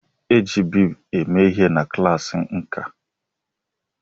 E ji bead eme ihe na klaasị nkà.